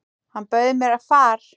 Hann bauð mér far.